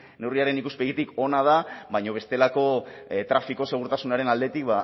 neurriaren ikuspegitik ona da baina bestelako trafiko segurtasunaren aldetik